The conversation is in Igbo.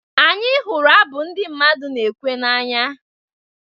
Anyị hụrụ abụ ndị mmadụ na ukwe n'anya